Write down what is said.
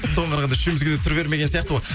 соған қарағанда үшеумізге де түр бермеген сияқты ғой